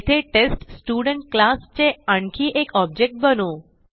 येथे test student class चे आणखी एक ऑब्जेक्ट बनवू